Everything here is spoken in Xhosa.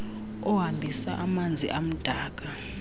ohambisa amanzi amdaka